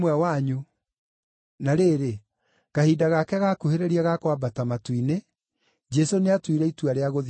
Na rĩrĩ, kahinda gake gaakuhĩrĩria ga kwambata matu-inĩ, Jesũ nĩatuire itua rĩa gũthiĩ Jerusalemu.